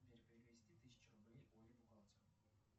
сбер перевести тысячу рублей оле бухгалтеру